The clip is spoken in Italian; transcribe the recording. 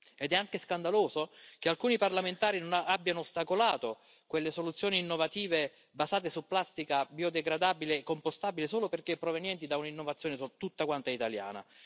Ed è anche scandaloso che alcuni parlamentari abbiano ostacolato quelle soluzioni innovative basate su plastica biodegradabile e compostabile solo perché provenienti da un'innovazione tutta quanta italiana.